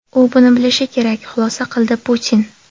U buni bilishi kerak”, xulosa qildi Putin.